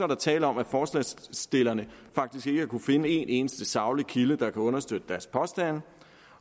der tale om at forslagsstillerne faktisk ikke har kunnet finde en eneste saglig kilde der kan understøtte deres påstande